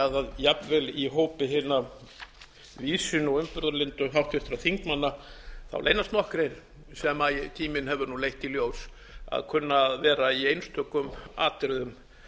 líka að jafnvel í hópi hinna víðsýnu og umburðarlyndu háttvirtra þingmanna leynast nokkrir sem tíminn hefur nú leitt í ljós að kunna að vera í einstökum atriðum